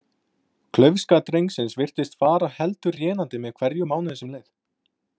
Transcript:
Klaufska drengsins virtist fara heldur rénandi með hverjum mánuði sem leið.